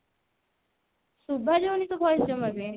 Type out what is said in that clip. ଶୁଭା ଯାଉନି ତୋ voice ମୋତେ